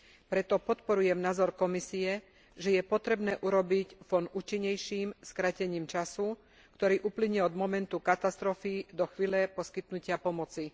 Preto podporujem názor Komisie, že je potrebné urobiť fond účinnejším skrátením času, ktorý uplynie od momentu katastrofy do chvíle poskytnutia pomoci.